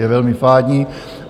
Je velmi fádní.